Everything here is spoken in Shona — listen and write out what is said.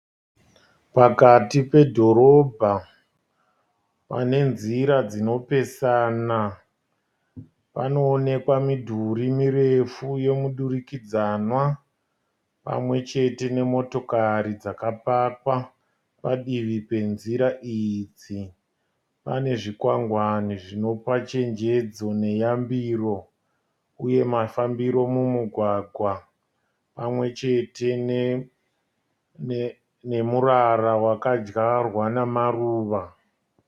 Pakati pedhorobha, pane nzira dzinopesana. Panoonekwa midhuri mirefu yemudurikidzanwa pamwechete nemotokari dzakapakwa padivi penzira idzi. Pane zvikwangwani zvinopa chenjedzo neyambiro uye mafambiro mumugwagwa. Pamwechete nemurara Waka dyarwa namaruva .